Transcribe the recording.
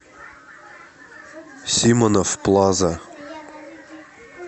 симонов плаза